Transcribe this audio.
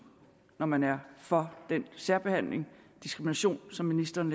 når man er for den særbehandling og diskrimination som ministeren